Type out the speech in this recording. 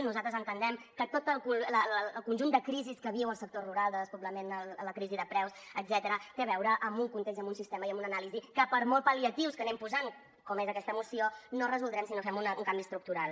nosaltres entenem que tot el conjunt de crisis que viu el sector rural de despoblament la crisi de preus etcètera té a veure amb un context amb un sistema i amb una anàlisi que per molts pal·liatius que hi anem posant com és aquesta moció no resoldrem si no fem un canvi estructural